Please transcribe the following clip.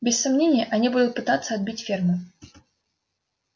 без сомнения они будут пытаться отбить ферму